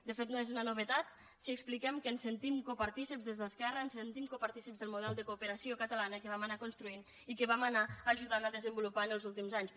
de fet no és una novetat si expliquem que ens en sentim partícips des d’esquerra ens sentim partícips del model de cooperació catalana que vam anar construint i que vam anar ajudant a desenvolupar en els últims anys